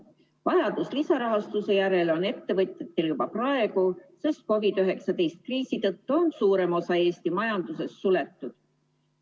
Vajadus lisarahastuse järele on ettevõtetel juba praegu, sest COVID-19 kriisi tõttu on suurem osa Eesti majandusest suletud.